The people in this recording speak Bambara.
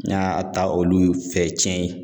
N y'a ta olu fɛ tiɲɛ ye.